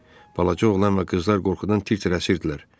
Balaca oğlan və qızlar qorxudan tir-tir əsirdilər.